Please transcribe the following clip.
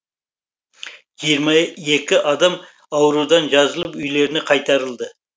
жиырма екі адам аурудан жазылып үйлеріне қайтарылды